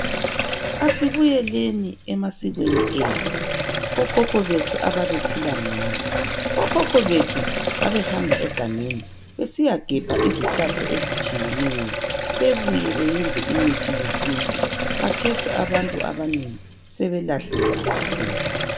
asibuyeleni emasikweni ethu okhokho bethu ababephila ngawo okhokho bethu babehamba egangeni besiyagebha izihlahla ezitshineyo bebuye beyenze imithi yesintu khathesi abantu abanengi sebelahle amasiko